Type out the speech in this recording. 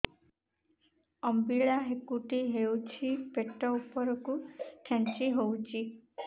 ଅମ୍ବିଳା ହେକୁଟୀ ହେଉଛି ପେଟ ଉପରକୁ ଖେଞ୍ଚି ହଉଚି